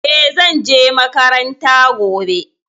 E, zan je makaranta gobe.